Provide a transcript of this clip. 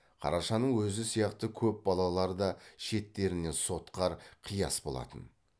қарашаның өзі сияқты көп балалары да шеттерінен сотқар қияс болатын